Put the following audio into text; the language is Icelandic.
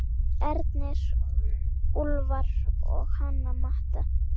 Ernir, Úlfar og Hanna Matta.